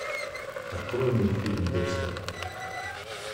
открой мне фильм декстер